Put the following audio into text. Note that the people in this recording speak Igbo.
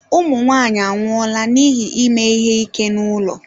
Ụmụ nwanyị anwụọla n'ihi ime ihe ike n'ụlọ.